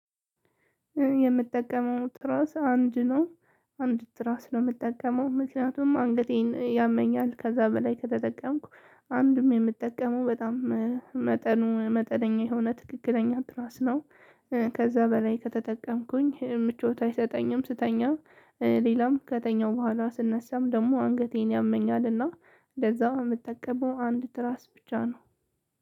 የምጠቀመው ትራስ አንድ ነው። አንድ ትራስ ነው የምጠቀመው ምክንያቱም አንገቴን ያመኛል ከዛ በላይ ከተጠቀምኩ አንድም የምጠቀመው በጣም መጠኑ መጠነኛ የሆነ ትክክለኛ ትራስ ነው። ከዛ በላይ ከተጠቀምኩኝ ምቾት አይሰጠኝም ስተኛ ሌላም ከተኛው በኋላ ስነሳም ደግሞ አንገቴን ያመኛልና ለዛ የምጠቀመው አንድ ትራስ ብቻ ነው።